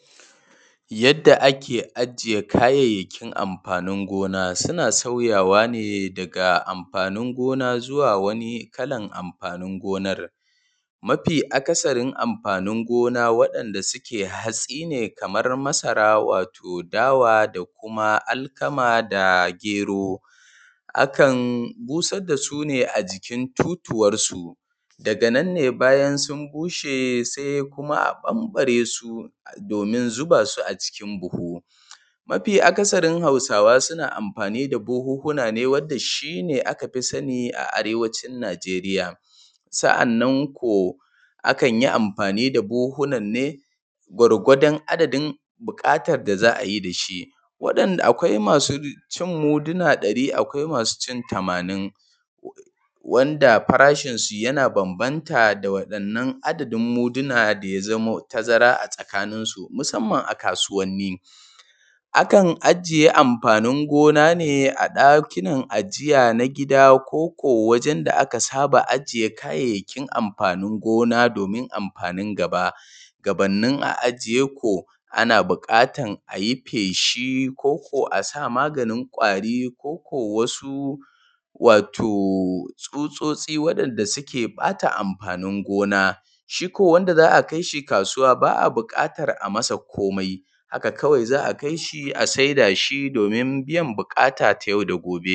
Yadda ake ajiye kayayyakin amfani gina suna sauyawa ne daga amfani go:na: zuwa wani kalar amfanin gona r mafi akasarin amfani gona su ne hatsi ne kamar masara dawa da kuma alkama kuma gero akan busar da su ne a jikin totuwarsu daga nan ne bayan sun bushe sai a dawo da su do:min zuba shi a cikin buhu. Mafi akasarin hausawa suna amfani da buhuhuna ne wanda aka fi sani a arewacin najeriya. akan yi amfani da buhuhunan ne gwargwadon adadin buƙatar da za a yi da shi, akwai masu ci muduna ɗari akwai masu cin muduna tamanin wanda farashin su yana bambanta da wannan adadin muduna da ya zamo tazara a tsakininsu musamman a kasuwanni. akan ajiye amfanin go:na: ne a ɗaki ajiya na gida ko kuwa wajen da aka saba a jiye kayayyakin amfanin go:na: do:min amfanin gaba. Gabannin a ajiye ko ana buƙatar a yi feshi ko kuwa a sa maganin ƙwari ko kuwa wasu tsutsotsi wanda suke bata amfanin gona shi kuwa wanda za a da shi kasuwa ba a buƙatar a yi masa komai kawai za a kai shi a saida shi domin biyan buƙatar ta yau da gobe.